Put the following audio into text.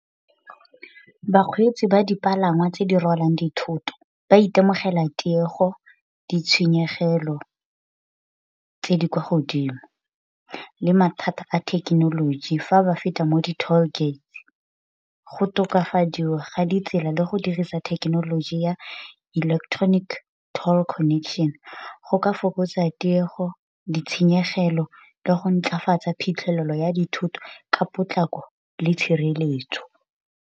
Bakgweetsi ba dipalangwa tse di rwalang dithoto ba itemogela tiego, ditshenyegelo tse di kwa godimo, le mathata a thekenoloji fa ba feta mo di toll-gates. Go tokafadiwa ga ditsela le go dirisa thekenoloji ya electronic toll connection go ka fokotsa tiego ditshenyegelo le go ntlafatsa phitlhelelo ya dithoto ka potlako le tshireletso.